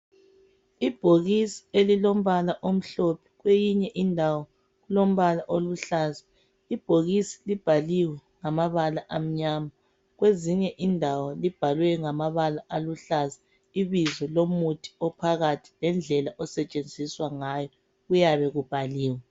Ibhokisi elilombala omhlophe kweyinye indawo kulombala oluhlaza. Ibhokisi libhaliwe ngamabaka amnyama. kwezinye indawo libhalwe ngamabala aluhlaza, ibizo lomuthi ophakathi lendlela osetshenziswa ngayo kuyabe kubhaliwe.